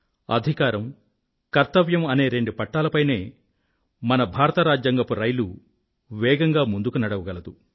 అధికారం కర్తవ్యం అనే రెండు పట్టాల పైనే మన భారత రాజ్యాంగపు రైలు వేగంగా ముందుకు నడవగలదు